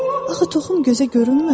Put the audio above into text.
Axı toxum gözə görünmür.